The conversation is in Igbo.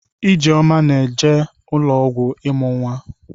Ijeoma na-aga ụlọọgwụ ịmụ nwa.